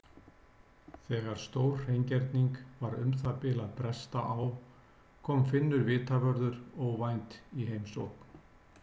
Þegar stórhreingerning var um það bil að bresta á kom Finnur vitavörður óvænt í heimsókn.